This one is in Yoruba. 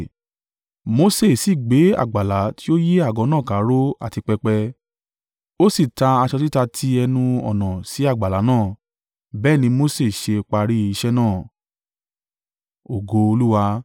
Mose sì gbé àgbàlá tí ó yí àgọ́ náà kà ró àti pẹpẹ, ó sì ta aṣọ títa ti ẹnu-ọ̀nà sí àgbàlá náà. Bẹ́ẹ̀ ni Mose ṣe parí iṣẹ́ náà.